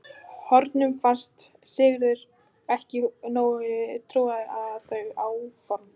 Honum fannst Sigurður ekki nógu trúaður á þau áform.